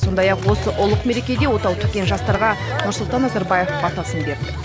сондай ақ осы ұлық мерекеде отау тіккен жастарға нұрсұлтан назарбаев батасын берді